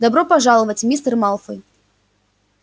добро пожаловать мистер малфой